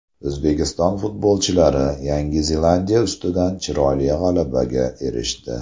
O‘zbekiston futbolchilari Yangi Zelandiya ustidan chiroyli g‘alabaga erishdi.